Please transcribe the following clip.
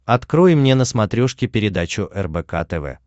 открой мне на смотрешке передачу рбк тв